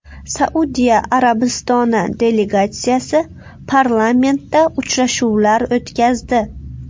Saudiya Arabistoni delegatsiyasi parlamentda uchrashuvlar o‘tkazdi.